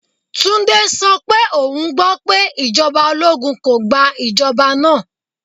Tunde so pe oun gbo pe ijọba ologun ko gba ijọba naa.